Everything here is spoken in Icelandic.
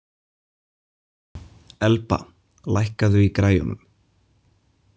Elba, lækkaðu í græjunum.